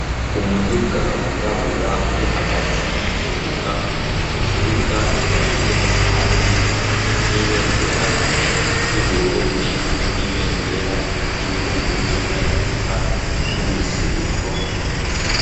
Umuduga wirabura uri hagati y'ikibuga. Ico kibuga kikaba kirimwo kandi n'ibendera y'Uburundi hamwe n'ibendera y'ibihugu vyo muri Afrika y'Ubuseruko.